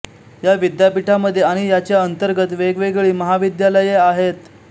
या विद्यापीठामध्ये आणि याच्या अंतर्गत वेगवेगळी महाविद्यालये आहेत